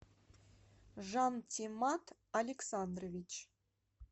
жантимат александрович